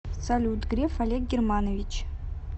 салют греф олег германович